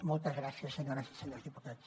moltes gràcies senyores i senyors diputats